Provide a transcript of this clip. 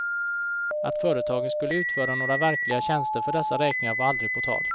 Att företagen skulle utföra några verkliga tjänster för dessa räkningar var aldrig på tal.